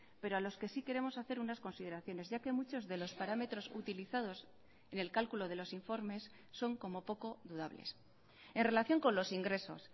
pero a los que sí queremos hacer unas consideraciones ya que muchos de los parámetros utilizados en el cálculo de los informes son como poco dudables en relación con los ingresos